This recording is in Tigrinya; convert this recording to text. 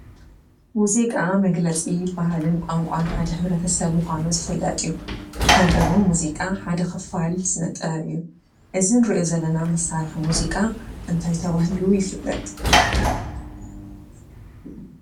ሙዚቃ መግለፂ ባህሊን ቋንቋን ሓደ ሕብረተሰብ ምኮኑ ዝፍለጥ እዩ። ከምኡ እውን ሙዚቃ ክፋል ስነ ጥበብ እዩ። እዙይ እንርእዮ ዘለና መሳርሒ ሙዚቃ እንታይ ተባህሉ ይፍለጥ?